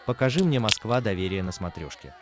покажи мне москва доверие на смотрешке